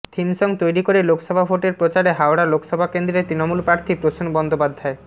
theme song তৈরি করে লোকসভা ভোটের প্রচারে হাওড়া লোকসভা কেন্দ্রের তৃণমূল প্রার্থী প্রসূন বন্দ্যোপাধ্যায়